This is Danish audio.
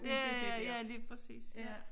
Ja ja ja lige præcis ja